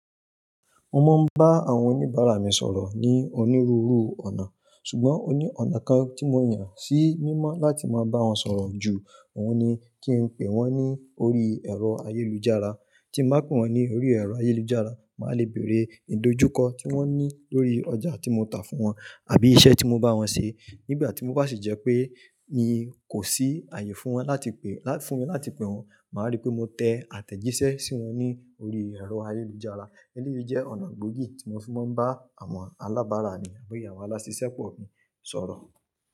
Mo máa ń bá àwọn oníbàárà mi sọ̀rọ̀ ní onírúurú ọ̀nà, ṣùgbọ́n ó ní ọ̀nà kan tí mo yàn sí mímọ́ láti máa bá wọn sọ̀rọ̀ jù. Òun ni kí n pe wọ́n ní orí ẹ̀rọ ayélujára. Tí mo bá pe wọn ní orí ẹ̀rọ ayélujára, màá le bèèrè ìdojúkọ tí wọ́n ní lórí ọjà tí mo tà fún wọn àbí iṣẹ́ tí mo bá wọn ṣe. Nígbà tí mo bá sì jẹ́ pé mi kò sí àyè fún wọn láti pe, fún mi láti pe wọn, màá rí pé mo tẹ àtẹ̀jíṣẹ́ sí wọn ní orí ẹ̀rọ ayélujára. Eléyìí jẹ́ ọ̀nà gbòógì tí mo fi máa ń bá àwọn alábàárà mi àbí awon alásísẹ́pọ̀ mi sọ̀rọ̀